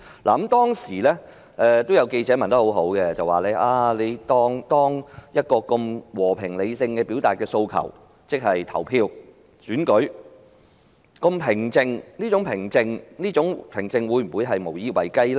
那個記者會上有記者問得很好：出現了和平理性地表達訴求的方式——即是投票和選舉——而且過程相當平靜，但這種平靜會否無以為繼呢？